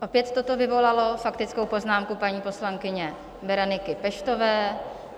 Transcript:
Opět toto vyvolalo faktickou poznámku paní poslankyně Bereniky Peštové.